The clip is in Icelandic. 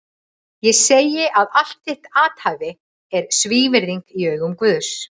Ég segi að allt þitt athæfi er svívirðing í augum Guðs!